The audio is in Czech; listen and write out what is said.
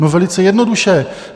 No velice jednoduše.